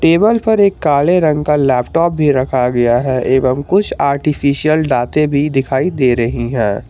Table पर एक काले रंग का लैपटॉप भी रखा गया हैं एवम् कुछ आर्टिफिशियल दांते भी दिखाई दे रही हैं।